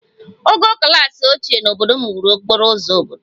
Ogo kachasị ochie n'obodo m wuru okporo ụzọ obodo